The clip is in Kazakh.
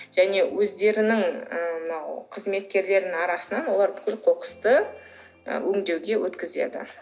және өздерінің ы мынау қызметкерлерінің арасынан олар бүкіл қоқысты і өңдеуге өткізеді